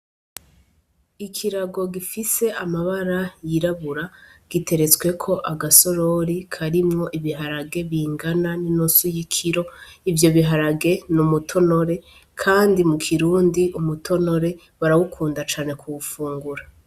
Ikirago gifise amabara yirabura giteretsweko agasorori karimwo ibiharage bingana n' inusu y' ikiro ,ivyo biharage ni umutonore, kandi mu Kirundi umutonore barawukunda cane kuwufungura.